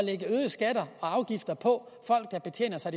afgifter på folk der betjener sig